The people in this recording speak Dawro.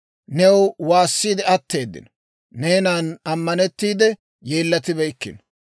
New waassiide atteeddino; neenan ammanettiide yeellatibeykkino.